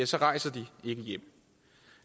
så rejser de ikke hjem